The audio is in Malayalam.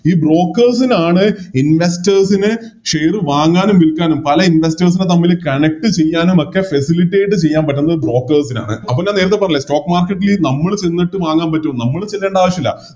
ഈ Brokers നാണ് Investors നെ Share വാങ്ങാനും വിൽക്കാനും പല Investors നെ തമ്മിൽ Connect ചെയ്യാനുമൊക്കെ Facilitate ചെയ്യാൻ പറ്റുന്നത് Brokers ആണ് അപ്പൊ ഞാൻ നേരത്തെ പറഞ്ഞില്ലേ Stock market ല് നമ്മള് ചെന്നിട്ട് വാങ്ങാൻ പറ്റുവോ നമ്മള് ചെല്ലേണ്ട ആവശ്യമില്ല